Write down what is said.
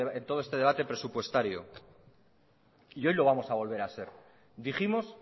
en todo este debate presupuestario y hoy lo vamos a volver a ser dijimos